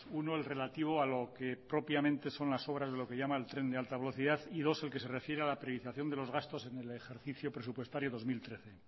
uno el relativo a lo que propiamente son las obras de lo que llama el tren de alta velocidad y dos el que se refiere a la priorización de los gastos en el ejercicio presupuestario dos mil trece